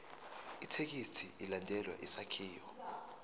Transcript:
ithekisthi ilandele isakhiwo